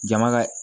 Jama ka